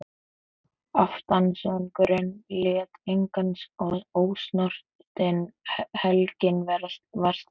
Aftansöngurinn lét engan ósnortinn, helgin var slík.